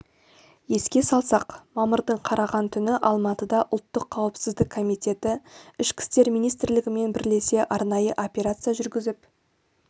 еске салсақ мамырдың қараған түні алматыда ұлттық қауіпсіздік комитеті ішкі істер министрлігімен бірлесе арнайы операция жүргізіп